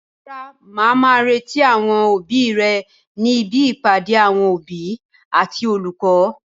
Rárá, màá má retí àwọn òbí rẹ ní ibi ìpàdé àwọn òbí àti olùkọ́.